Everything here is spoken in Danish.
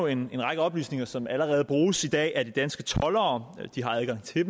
en række oplysninger som allerede bruges i dag af de danske toldere de har adgang til